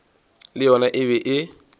le yona e be e